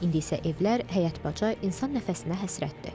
İndi isə evlər, həyət-baca insan nəfəsinə həsrətdir.